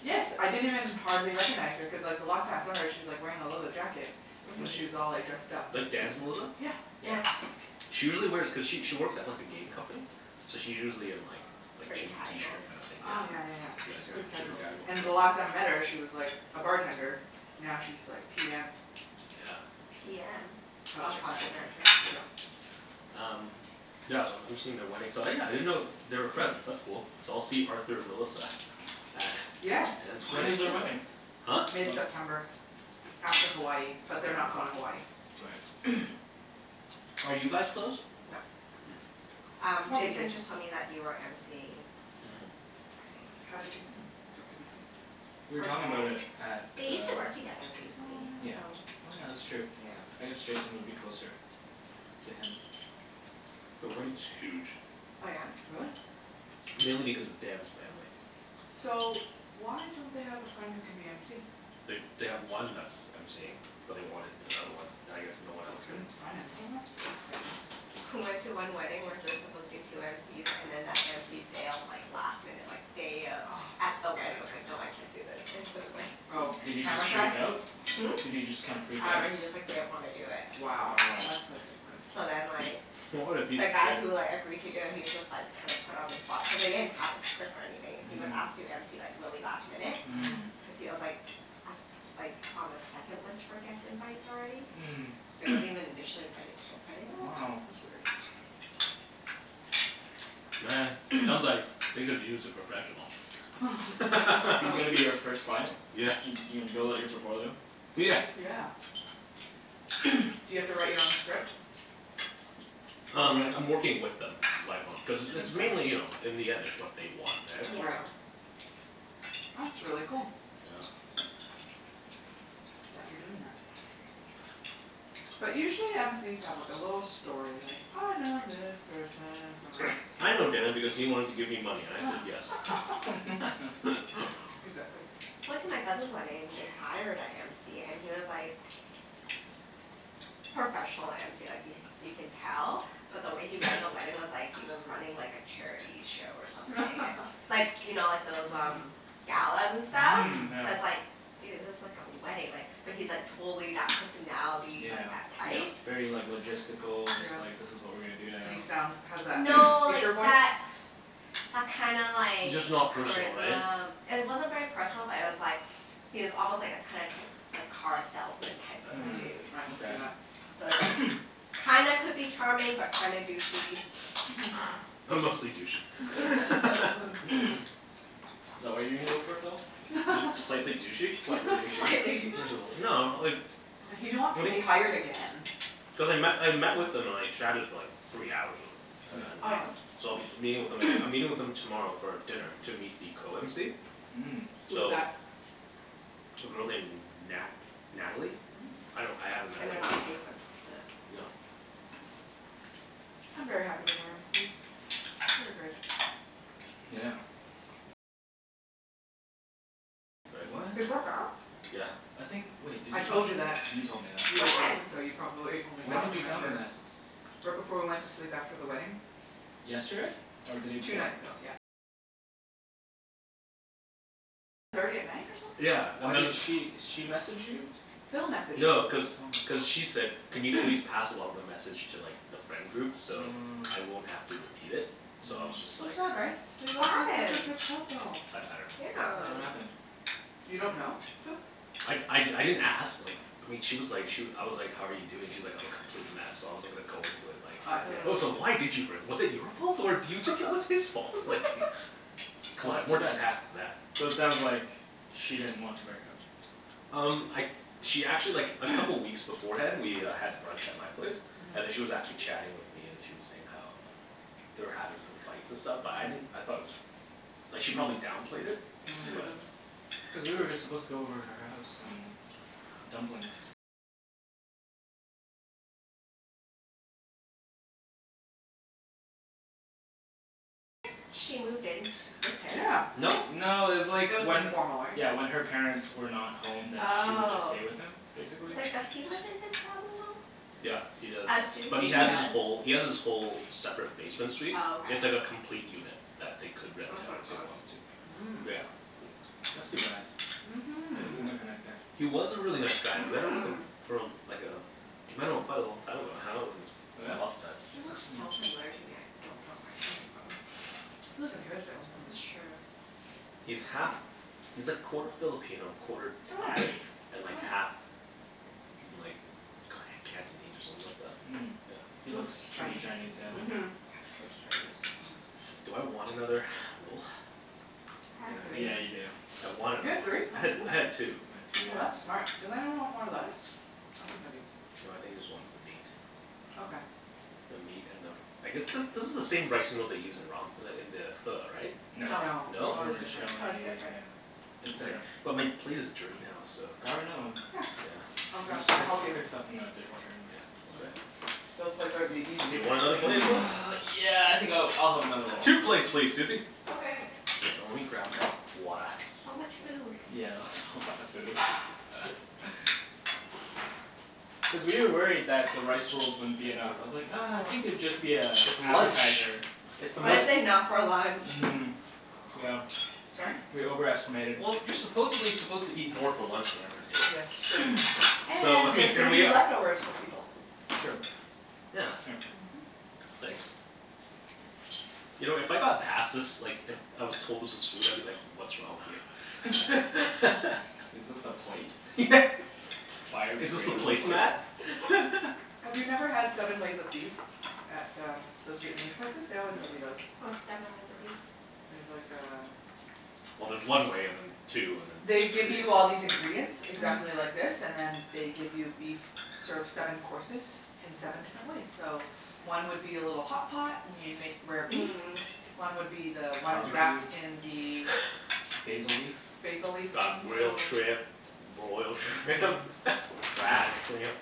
yes I didn't even hardly recognize her cuz like the last time I saw her she's like wearing a leather jacket. And she was Mhm. all like dressed up. Like Dan's Melissa? Yeah. Yeah. She usually wears, cuz she she works at like a game company, so she's usually in like, like Pretty jeans, t-shirt casual? kinda thing, yeah. Oh yeah yeah yeah, Yeah, she's pretty super casual. casual. And the last time I met her she was like a bartender, now she's like PM. Yeah. PM? Of Oh Project project something. manager, manager. yeah. Um yeah, so I'm MCing at their wedding so yeah, I didn't know they were friends, that's cool. So I'll see Arthur Melissa at Yes! Dan's When You is their will. wedding wedding? Huh? Whe- mid-september. After Hawaii, but they're not going to Hawaii. Right Are you guys close? Nope. Hm. Um, Jason just told me that you are MCing. Mhm. How did Jason know, talked to BK? We were From talking about Dan, it at the they used to work together briefly, Oh yeah. so Oh yeah, that's true. I guess Jason would be closer to him. The wedding is huge. Oh yeah? Really? Mainly because of Dan's family. So, why don't they have a friend who can be MC? They they have one that's that's MCing, but they wanted another one. And I guess no one They else could couldn't find another one? That's surprising. I went to one wedding where there's supposed to be two MCs, and then that MC bailed like last minute like day of, at the wedding was like, no I can't do this, and so it was like Oh, Did he camera just shy? freak out? Hm? Did he just kind of freak I out? dunno he just like didn't want to do it. Wow. Wow. That's a dick move. So then like. What a The guy who like agreed to do it he was just like kind of put on the spot, cuz they didn't have a script or anything. He was asked to MC like really last minute, cuz he was like a s- like on the second list for guest invites already. So he wasn't even initially invited to the wedding. What? Wow. That's weird. Man, sounds like they could use a professional. He's gonna be you first client? Yeah. You're gonna build up on your portfolio? Yeah. Yeah. Do you have to write your own script? Um, Probably. I'm working with them. Like on, cuz it's Makes mainly you know, sense. in the end it's what they want Yeah. right? Right. That's really cool. Yeah. That you're doing that. But usually MC's have like a little story like I know this person from I know Dan because he wanted to give me money and I said yes. Exactly. I went to my cousin's wedding and they hired a MC and he was like, professional MC like he, you can tell, but the way he ran the wedding was like he was running like a charity show or something Like, you know like those um, galas and stuff Mhm So it's Yeah. like, dude, this is like a wedding like, but he's like totally that personality, Yeah. like that type. Very like logistical Just Yeah. like this is what we are gonna do And he sounds, now has that No, like speaker voice? that, that kinda like Just not personal right? Charisma. It wasn't very personal but it was like, he was almost like a kind of, type, like car salesman type of Hm, Mhm. dude. I can see okay that. So it's like, kinda could be charming but kinda douchey. But mostly douchey. Is that what you're gonna go for, Phil? Just slightly douchey. Slightly douchey. Slightly douchey Just a little, no like He don't wants to be hired again. Cuz I met, I met with them and like chatted for like three hours with them, and Oh then Wow yeah? so I'll be meeting with them aga- I'm meeting with them tomorrow for dinner to meet the co-mc. Mm. Who's So that? A girl named Nat- Natalie? Mm. I don't, I haven't met And her they're not paying for the No. I'm very happy with our MC's. They are great. Yeah. What? They broke up? I think wait, did I you tell told me you that? that You told me that. You were drunk, When? so you probably only When half did you tell me remember that? Right before we went to sleep after the wedding. Yesterday? Or the day Two before? nights ago, yep. Yeah, and Why then did she, she message you? Phil messaged No, me. cuz cuz she said, "Can you please pass along the message to like the friend groups so I won't have to repeat it?" So I was just So like sad right? They What looked like such a happened? good couple! I I Yeah, Yeah. dunno. what happened? You don't know, Phil? I I d- I didn't ask like, I mean she was like she I was like, "how are you doing", she's like, "I'm a complete mess" so I wasn't gonna go into it like. Oh I see I Oh so see. why did you break, was it your fault or do you think it was his fault? Like, c'mon, I have more tact than So it that. sounds like she didn't want to break up. Um, I she actually like a couple weeks beforehand we uh had brunch at my place, and then she was actually chatting with me and she was saying how they were having some fights and stuff but I didn't, I thought it was, like she probably downplayed it. Mm. But. Cuz we were just supposed to go over to her house and cook dumplings Yeah. No? No, it's like It was when informal right? Yeah when her parents were not home then she would just Oh. stay with him, basically. Cuz like, does he live in his family Yeah, home? he does. I assume But he he has his does. whole, he has his whole separate basement suite. Oh It's like a okay. complete unit that they could rent out if they wanted to. Mm. But yeah. That's too bad. Yeah, he Mhm. seemed like a nice guy. He was a really nice guy and then like a for uh like uh I met him quite a long time ago. I hung out with him lots of times. He looks so familiar to me I don't know where I him from. He lives in Kerrisdale. That's true. He's half, he's like quarter Filipino, quarter Thai, and like half like Cantonese or something like that? Mm. He He Yeah. looks looks pretty Chinese Chinese, yeah. Mhm. He looks Chinese. Mhm Do I want another roll? I had three. Yeah, you do. I want You another had three? one. I had, I had two. I had two, yeah. Oh that's smart. Does anyone want more lettuce? I think I do. No, I think I just want the meat. Okay. The meat and the, I guess this this is the same rice noodle they use in ramen, like in the pho, right? No. No. This is No? Pho is different. vermicelli, Pho is different. yeah. It's Okay, different. but my plate is dirty now so. Grab another one. Yeah. I'll We grab, Yeah. just I'll stick, help you. stick stuff in the dishwasher anyways. Yeah, Yeah, okay. those plates are the Do you easiest to want another clean. plate as well? yeah I think I'll, I'll have another roll. Two plates please, Susie. Okay. Oh lemme grab my, water. So much food. Yeah. That's a lot of food. Cuz we were worried that the rice rolls wouldn't be Thanks very enough. I much. was like ah You I are think welcome. it'd just be a It's lunch! appetizer. It's the most That's enough for lunch. Mhm. Yeah. Sorry? We over estimated. Well, you're supposedly suppose to eat more for lunch than you are for Yes it's dinner. true. So And I mean there's going here to we be are leftovers for people True. Yeah. Thanks. You know if I got passed this like it, I was told this was food I'd be like, what's wrong with you. Is this the plate? Yeah. Is this the Biodegradable plate? placemat? Have you never had seven ways of beef at uh, those Vietnamese places? They No. always give you those. What's seven ways of beef? It's like um Well there's one way and then two and then They give you all these ingredients exactly like this and then they give you beef, serve seven courses in seven different ways so one would be a little hotpot and you make rare beef. Mm. One would be the ones Barbequed? wrapped in the Basil leaf? Basil leaf Got thing grilled shrimp, broiled shrimp fried shrimp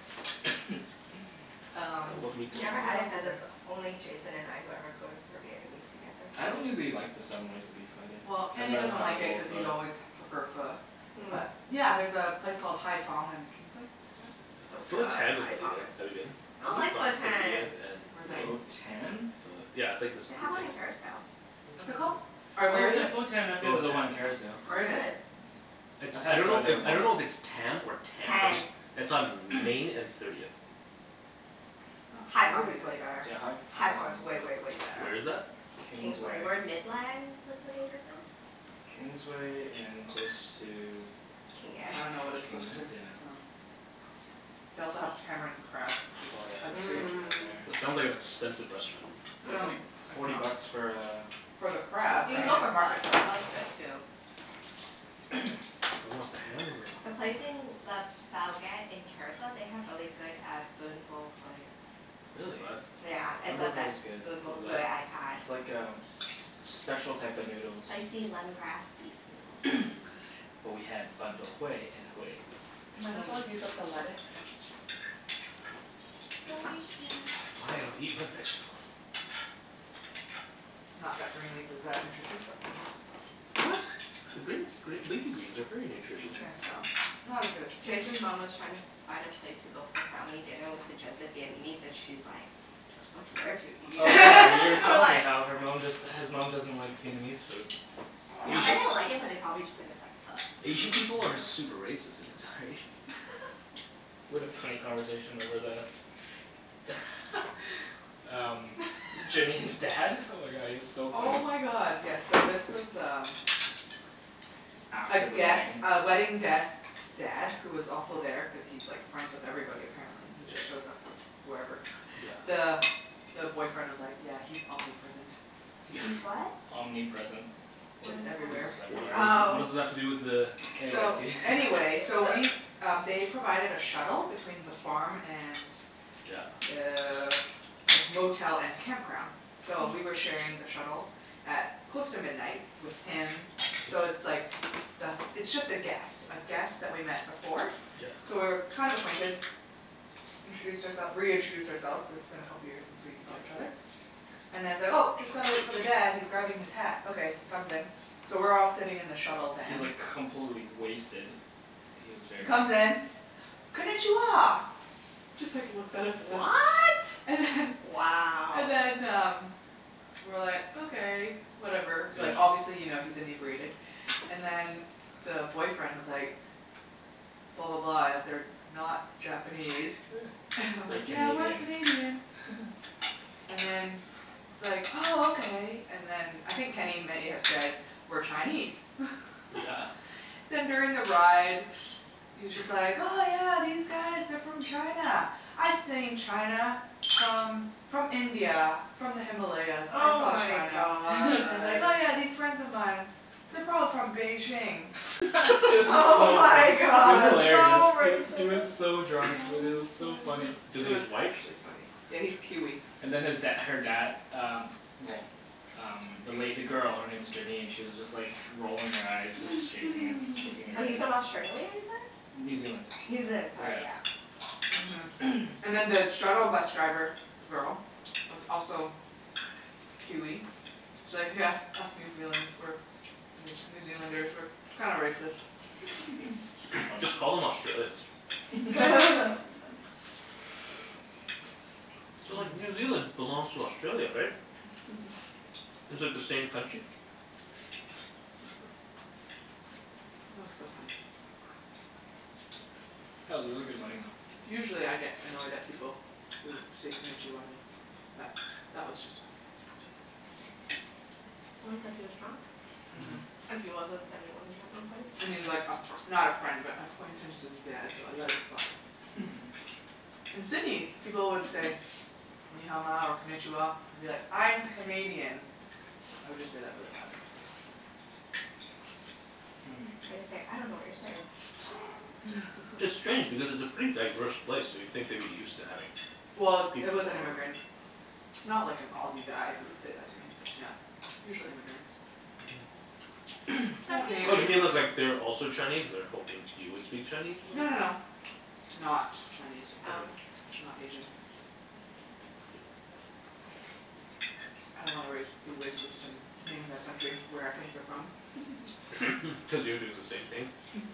I dunno, Um. what meat I've do I never want What had it else cuz is there. it's only Jason and I who ever go to, for Vietnamese together. I don't really the, like the seven ways of beef either, Well, I'd Kenny rather doesn't have a like it bowl cuz of he's always prefer Pho. Pho. But Mm. yeah, there's a place called Hai Phong on Kingsway So Pho fun, Tan is Hai really Phong good, is have you been? I don't like It's on Pho Tan! thirtieth Where's and? that? Pho Tan? Pho- yeah, it's like this They have one in Kerrisdale. What's it called? Or where Oh is yeah it? Pho Tan I've been to the one in It's Kerrisdale. Where not is it? good. It's, I I had Pho dunno there if, I once. dunno if it's Tam or Tan. Tan. It's on Main and Thirtieth. Oh Hai Phong is thirtieth. way better. Yeah, Hai Ph- Hai Hai Phong Phong is way is good way way better. Where is that? Kingsway. Kingsway. Where Midland Liquidators is. Kingsway and close to King Ed I dunno what it's King close Ed? to. Yeah. Oh. They also have tamarind crab which Oh yeah, it's It so is. Mm. sounds like good an there. expensive restaurant. Mm- It's only mm. forty bucks for uh For the crab. I You can mean go it's for Pho. market The price. Pho is good too. Do I want the ham or do I want The the pork. place in Le Bouguette in Kerrisdale they have really good uh Ben Bo Hue. What is Really. Yeah, that? it's Ben Bo the Hue best is good. Ben Bo Hue I've had. It's like um s- special type of noodles. Spicy lemongrass beef noodles. So good. But we had Ben Bo Hue in Hue. We might as well use up the lettuce. Don't eat it yet! Fine, I'll eat my vegetables. Not that green leaf is that nutritious but whatever What? Green, green, leafy greens are very nutritious. I guess so. Not as good as spinach. Jason's mom was trying to find a place to go for family dinner, we suggested Vietnamese and she's like, "What's there to eat?" Oh yeah you already We're told me like how her mom just, his mom doesn't like Vietnamese food. I bet they don't like it but they probably just think it's like Asian Pho. people are super racist against other Asians. We had a funny conversation over the. Um, Janine's dad. Oh my god, he was so funny Oh my god yes so this was um A After the guest, wedding. a wedding guest's dad who was also there cuz he's like friends with everybody apparently. He just shows up wherever. Yeah. The the boyfriend was like, "Yeah he's omnipresent." He's what? Omnipresent. What Just is that? everywhere. What does, what does that, Oh. what does that have to do with the Anyways So, he anyways so we um they provided a shuttle between the farm and Yeah. Uh the motel and campground so we were sharing the shuttle at close to midnight with him. So it's like the, it's just a guest, a guest that we've met before. So Yeah. we were kind of acquainted. We introduced our- reintroduced ourselves cuz it's been a couple of years since we saw each other. And then he's like, "Oh just gotta wait for the dad, he's grabbing his hat", okay he comes in. So we're all sitting in the shuttle He's van. like completely wasted. Like he was He very drunk. comes in, "Konichiwa!" Just like looks at us and- What?! And then Wow. And then um, we were like, okay, whatever, like obviously you know he's inebriated, and then the boyfriend was like, "Blah blah blah they're not Japanese." And I'm We're like, "Yeah we're Canadian. Canadian." And then he's like oh okay. And then I think Kenny may have said we're Chinese Yeah. Then during the ride, he's just like, "Oh yeah these guys are from China, I've seen China from from India, from the Himalayas." I Oh saw my China. god. And he's like, "Yeah yeah, these friends of mine, they're probably from Beijing." It was Oh so funny. my It was god. hilarious. So He was racist! so drunk, Wenny, it was so funny. Does It he, he's was white? actually funny. Yeah he's Kiwi. And then his dad her dad um well um the lady, the girl, her name is Janine, she was just like rolling her eyes just shaking his, shaking her So he's head from Australia, New you said? Zealand. New Zealand, sorry yeah. Mhm. And then the shuttle bus driver girl was also Kiwi. She's like, "Yeah, us New Zealand's, we're, New Zealanders we're, we're kinda racist." Just call them Australians. So like New Zealand belongs to Australia, right? It's like the same country? That was so funny. That was a really good wedding though. Usually I get annoyed at people who say Konichiwa to me, but that was just funny. Probably cuz he was drunk. Mhm. And he was like a fr- not a friend but acquaintance's dad so I let it slide. In Sydney, people would say "Ni Hao Ma" or "Konichiwa" and I'll be like, "I'm Canadian." I would just say that really loud in their face. Or you say, "I dunno what you're saying." It's strange because it's a pretty diverse place so you'd think they'd be used to having Well, it was an immigrant. It's not like an Aussie guy who would said that to me. Yeah. Usually immigrants. Mhm. Oh you mean cuz like they're also Chinese and they were hoping you would speak Chinese or No no something? no. Not Chinese, um, Oh. not Asian. I don't wanna race, be racist and name that country, where I think they're from. Cuz you're doing the same thing.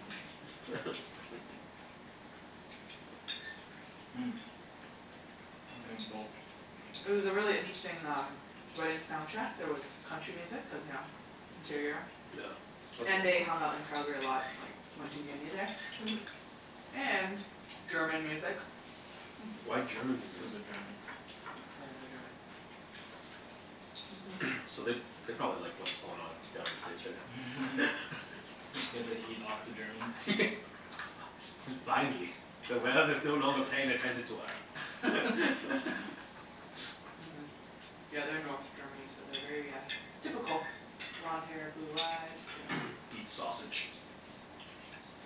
Mm. I think I'm full. It was a really interesting um, wedding soundtrack, there was country music cuz you know, interior. Yeah. And they hung out in Calgary a lot like, they went to uni there. Mhm. And German music. Why German music? Cuz they're German. Oh yeah they are German. So they, they probably like what's going on down in States right now. Get the heat off the Germans? Fi- yeah, finally. The world is no longer paying attention to us. Mhm, yeah they are North Germany so they are very uh, typical, blonde hair blue eyes. Yeah. Eat sausage.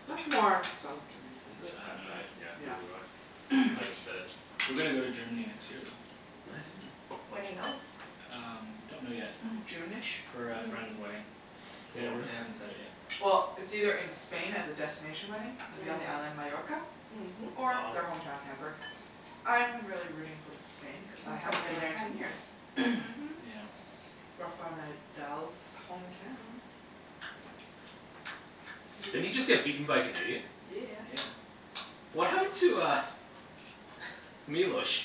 That's more South Germany I Is think. it? I have no Yeah, idea. Yeah neither do I. I just said it. We're gonna go to Germany next year though. Nice. When do you go? Um, we don't know yet. june-ish? For a friend's wedding. They don't, they haven't set it yet. Well, it's either in Spain as a destination wedding, it'd be on the island Majorca Or Wow. their homeown their Hamburg. I am really rooting for Spain cuz I haven't been there in ten years. Mhm. Yeah. Rafael Nadal's hometown. Didn't he just get beaten by a Canadian? Yeah. Yeah. What happened to uh, Milos?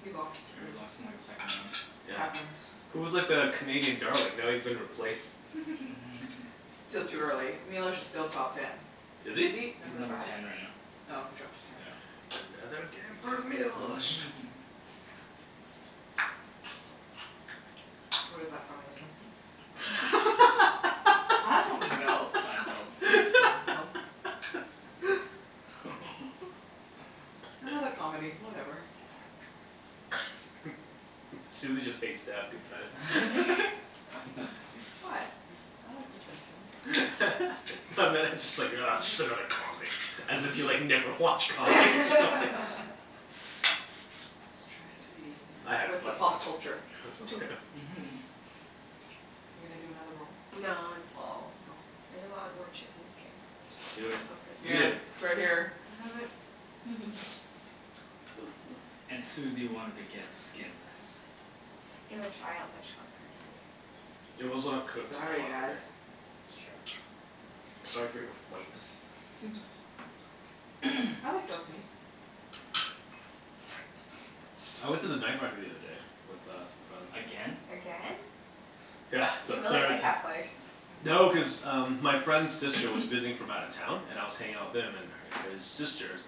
He lost, Yeah, he early. lost in like his second round. It Yeah, happens he was like the Canadian darling. Now he's been replaced. Still too early, Milos is still top ten. Is Is he? he He's number number five? ten right now. Oh, he dropped to ten. Yeah. Another game for Milos! Mhm Where's that from, the Simpsons? I dunno! Seinfeld. Seinfield? Another comedy, whatever. Susie just hates to have a good time. What, I like the Simpsons. I meant, just like ugh just another comedy, as if you like, never watch comedies or something. I was trying to be you know, I had with the fun pop once. culture. Are you gonna do another roll? No, I'm full. You're full? I just want more chicken skin. Do it. It's so crispy. Eat Here, it. it's right here. I have it! And Susie wanted to get skinless. It would dry out much quicker. It would get also have skin. cooked a Sorry lot quicker. guys. That's true. Sorry for your whiteness? I like dark meat. I went to the night market the other day with uh some friends. Again? Again? Yeah, for You the really third like ti- that place. No, cuz um my friend's sister was visiting from out of town and I was hanging out with him and her, his sister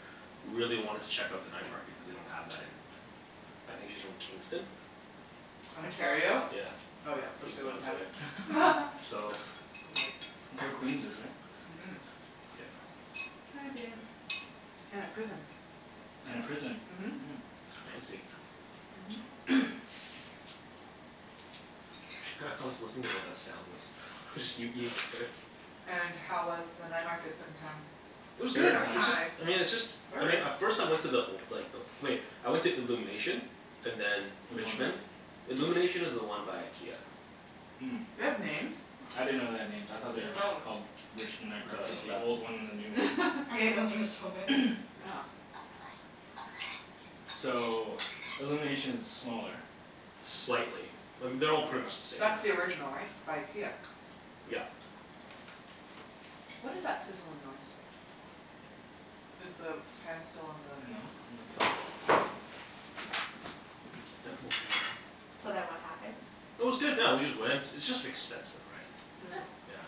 really wanted to check out the night market cuz they don't have that in, I think she's from Kingston? Ontario? Ontario? Oh Yeah, yeah, of course they Kingston wouldn't have it. Ontario. So. So That's white. where Queens is right? Mhm. Yep. I've been. And a prison. And a prison. Mhm. Fancy. Mhm. Hah, I was listening to what that sound was. It was just you eating carrots. And how was the night market second time? It was good! Third Third time! It's just, time! I mean it's just I mean, Third? at first I went to the old, like the old wait, I went to Illumination and then, Which one is that? Richmond. Illumination is the one by IKEA. Mm. They have names? I didn't know they had names, I thought they were just called Richmond Night Market, the old one and the new one. I didn't know there was so many. Yeah. So, Illuminations is smaller Slightly. I mean, they're all pretty much the same now. That's the original right? By IKEA. Yep. What is that sizzling noise? Is the pan still on the No, I don't think so. So then what happened? It was good yeah, we just went, it's just expensive right. Is it? Yeah.